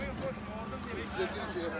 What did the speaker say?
Oynayır, qardaş, oynayır.